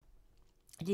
DR1